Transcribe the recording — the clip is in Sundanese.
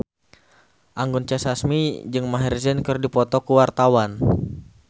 Anggun C. Sasmi jeung Maher Zein keur dipoto ku wartawan